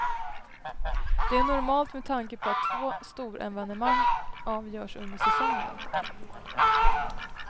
Det är normalt med tanke på att två storevenemang avgörs under säsongen.